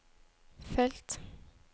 felt